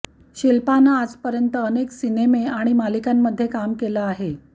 शिल्पानं आजपर्यंत अनेक सिनेमा आणि मालिकांमध्ये काम केलं आहे